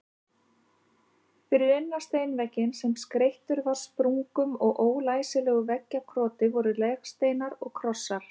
Fyrir innan steinvegginn, sem skreyttur var sprungum og ólæsilegu veggjakroti, voru legsteinar og krossar.